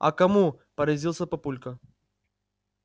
а кому поразился папулька